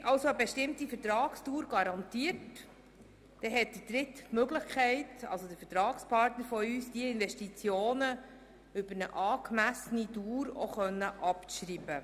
Wird eine bestimmte Vertragsdauer garantiert, dann hat unser Vertragspartner also die Möglichkeit, diese Investitionen über eine angemessene Dauer abzuschreiben.